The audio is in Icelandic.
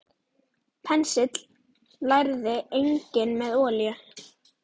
Penslið lærið einnig með olíu.